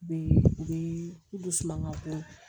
U be u be dusuman bɔ